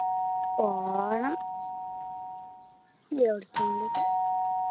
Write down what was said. പോണം എവിടേക്കെങ്കിലും